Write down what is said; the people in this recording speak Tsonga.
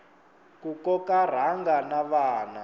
ku koka rhanga na vana